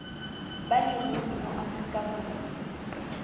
ba leruri mo aforika borwa